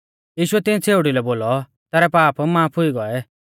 यीशुऐ तिऐं छ़ेउड़ी लै बोलौ तैरै पाप माफ हुई गौऐ